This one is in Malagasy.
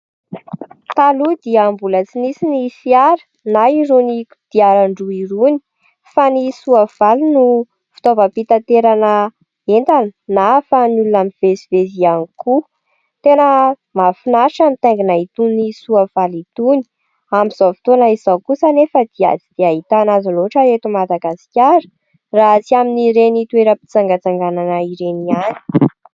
Taloha dia mbola tsy nisy ny fiara na irony kodiaran-droa irony fa ny soavaly no fitaovam-pitanterana entana na ahafahan'ny olona mivezivezy iany koa. Tena mahafinaritra ny mitaingina itony soavaly itony, amin'izao kosa anefa dia tsy dia ahitana azy loatra eto madagasikara raha tsy amin'ireny toeram-pitsangatsanganan ireny iany.